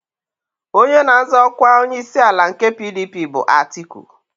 Onye na-azọ ọkwa onyeisiala nke PDP bụ Atiku.